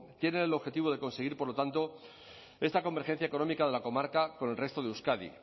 tienen el objetivo de conseguir por lo tanto esta convergencia económica de la comarca con el resto de euskadi